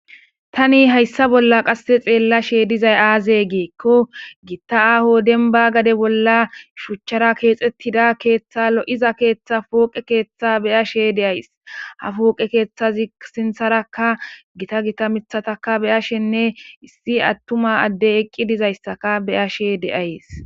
tani hayssa bolla qasse xeella she dizay aaze geekko giitta aaho denba gade bolla shuchchara keexettida keeththa lo7iza keeththa pooqe keeththa beya she de7ays ha pooqe keeththazi sintharaka gita gita mithataka beyashenne issi attuma addey eqqi dizayssaka beya she de7ays